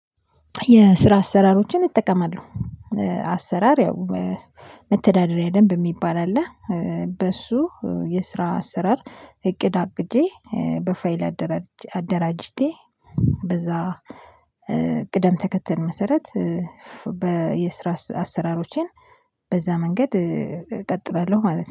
የስራ አሰራሮችን እጠቀማለሁ። አሰራር ያው መተዳደሪያ ደንብ የሚባል አለ። በሱ የስራ አስራር እቅድ አቅጄ በፋይል አደራጅቴ በዛ። ቅደም ተከተል መሰረት በየስራ አሰራሮቼን በዛ መንገድ እቀጥላለሁ ማለት ነው